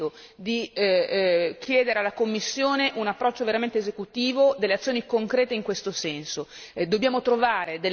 Quindi è veramente venuto il momento di chiedere alla Commissione un approccio veramente esecutivo e delle azioni concrete in questo senso.